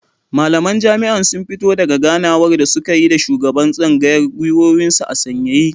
Malaman jami'an sun fito daka ganawar da suka yi da shugaban tsangayar gwiwoyinsu a sanyaye